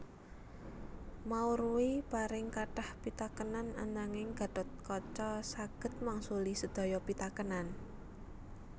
Maurwi paring kathah pitakenan ananging Gathotkaca saged mangsuli sedaya pitakenan